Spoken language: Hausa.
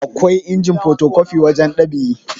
akwai injin potokwafi wajen ɗab'i